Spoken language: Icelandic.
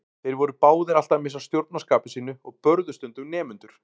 Þeir voru báðir alltaf að missa stjórn á skapi sínu og börðu stundum nemendur.